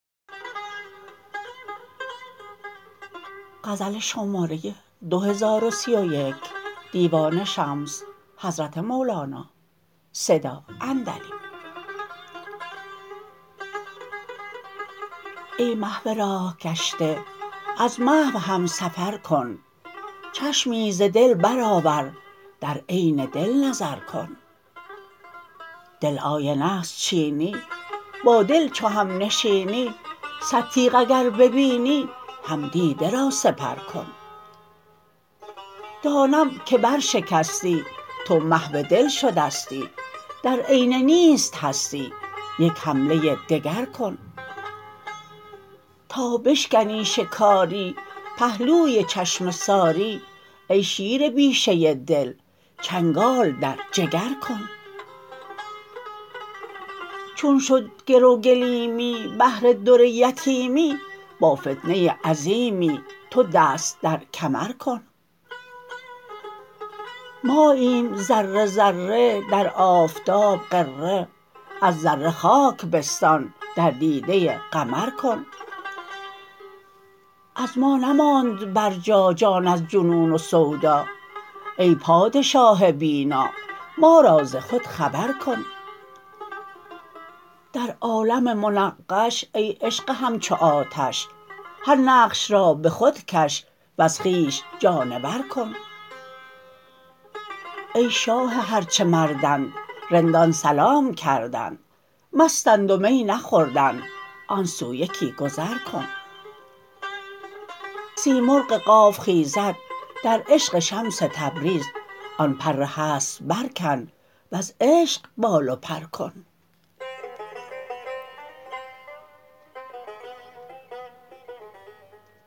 ای محو راه گشته از محو هم سفر کن چشمی ز دل برآور در عین دل نظر کن دل آینه است چینی با دل چو همنشینی صد تیغ اگر ببینی هم دیده را سپر کن دانم که برشکستی تو محو دل شدستی در عین نیست هستی یک حمله دگر کن تا بشکنی شکاری پهلوی چشمه ساری ای شیر بیشه دل چنگال در جگر کن چون شد گرو گلیمی بهر در یتیمی با فتنه عظیمی تو دست در کمر کن ماییم ذره ذره در آفتاب غره از ذره خاک بستان در دیده قمر کن از ما نماند برجا جان از جنون و سودا ای پادشاه بینا ما را ز خود خبر کن در عالم منقش ای عشق همچو آتش هر نقش را به خود کش وز خویش جانور کن ای شاه هر چه مردند رندان سلام کردند مستند و می نخوردند آن سو یکی گذر کن سیمرغ قاف خیزد در عشق شمس تبریز آن پر هست برکن وز عشق بال و پر کن